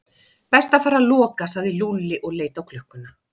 Best að fara að loka sagði Lúlli og leit á klukkuna.